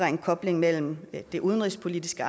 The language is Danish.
en kobling mellem det udenrigspolitiske